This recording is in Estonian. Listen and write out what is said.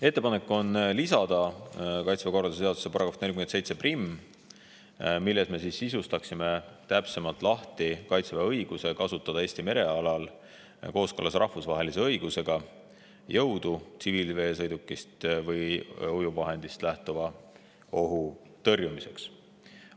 Ettepanek on lisada Kaitseväe korralduse seaduse § 471 lõige 1, milles me sisustaksime täpsemalt lahti Kaitseväe õiguse kasutada Eesti merealal kooskõlas rahvusvahelise õigusega jõudu tsiviilveesõidukist või ujuvvahendist lähtuva ohu tõrjumiseks.